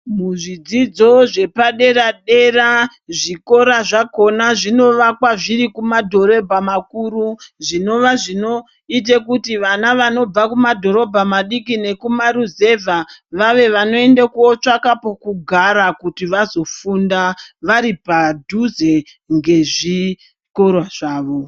Kuzvidzidzo zvepadera-dera, zvikora zvakhona zvinovakwa zviri kumadhorobha makuru, zvinova zvinote kuti vana vanobva kumadhorobha madiki nekumaruzevha vave vanoende kootsvake pekugara kuti vazofunda vari padhuze ngezvikoro zvavo.